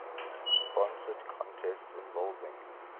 sponsored contests involving